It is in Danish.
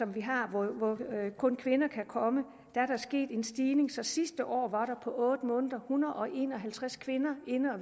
vi har og hvor kun kvinder kan komme er der sket en stigning så der sidste år på otte måneder var hundrede og en og halvtreds kvinder